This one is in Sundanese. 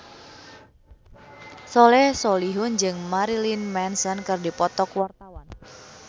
Soleh Solihun jeung Marilyn Manson keur dipoto ku wartawan